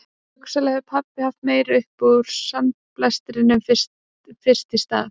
Hugsanlega hefur pabbi haft meira upp úr sandblæstrinum fyrst í stað